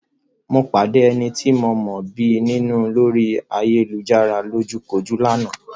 Mo pàdé ẹni tí ń mọ̀ọ́mọ̀ bí mi nínú lórí ayélujárá lójúkojú lánàá.